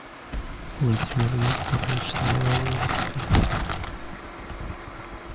владимир викторович новолоцкий